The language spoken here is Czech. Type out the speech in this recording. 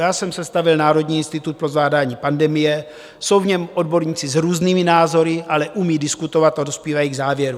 Já jsem sestavil Národní institut pro zvládání pandemie, jsou v něm odborníci s různými názory, ale umějí diskutovat a dospívají k závěrům.